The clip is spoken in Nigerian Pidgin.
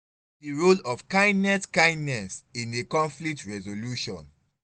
wetin be di role of kindness kindness in a conflict resolution?